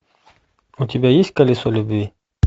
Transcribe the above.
у тебя есть колесо любви